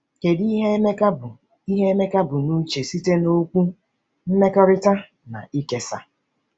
Kedu ihe Emeka bu ihe Emeka bu n’uche site na okwu “mmekorita” na “ikesa”?